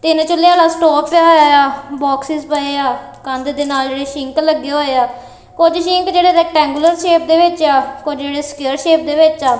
ਤਿੰਨ ਚੁੱਲ੍ਹੇ ਆਲਾਂ ਸਟੋਵੇ ਪਿਆ ਹੋਇਆ ਆ ਬੋਕਸੇਸ ਪਏ ਆ ਕੰਧ ਦੇ ਨਾਲ ਜੇਹੜੇ ਸ਼ਿੰਕ ਲੱਗੇ ਹੋਏ ਆ ਕੁਛ ਸ਼ਿੰਕ ਜੇਹੜੇ ਰਿਕਟੈਂਗੁਲਰ ਸ਼ੇਪ ਦੇ ਵਿੱਚ ਆ ਕੁਛ ਜੇਹੜੇ ਸਕਵੇਅਰ ਸ਼ੇਪ ਦੇ ਵਿੱਚ ਆ।